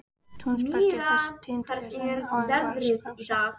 Túnsbergi er þessi tíðindi urðu er áður var frá sagt.